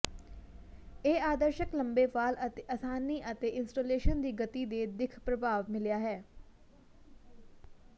ਇਹ ਆਦਰਸ਼ਕ ਲੰਬੇ ਵਾਲ ਅਤੇ ਆਸਾਨੀ ਅਤੇ ਇੰਸਟਾਲੇਸ਼ਨ ਦੀ ਗਤੀ ਦੇ ਦਿੱਖ ਪ੍ਰਭਾਵ ਮਿਲਾ ਹੈ